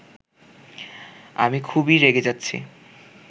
আমি খুবই রেগে যাচ্ছি